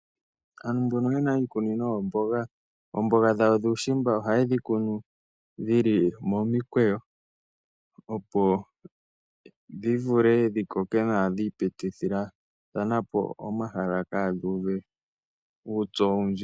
Aantu mboka ye na iikunino yoomboga, oombaanga dhawo dhuushimba ohaye dhi kunu dhi li momikweyo opo dhi vule dhi koke nawa, dha pitithathana po omahala, ka dhi uve uupyu owundji.